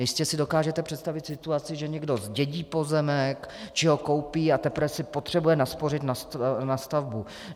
Jistě si dokážete představit situaci, že někdo zdědí pozemek či ho koupí a teprve si potřebuje naspořit na stavbu.